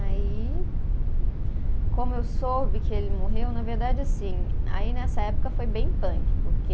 Aí como eu soube que ele morreu, na verdade, assim. Aí, nessa época, foi bem punk, porque